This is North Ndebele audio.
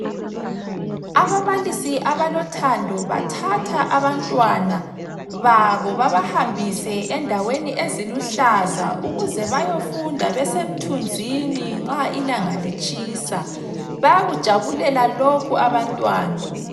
Ababalisi abalothando bathatha abantwana babo babahambise endaweni eziluhlaza ukuze bayofunda besemthunzini nxa ilanga litshisa bayakujabulela lokhu abantwana.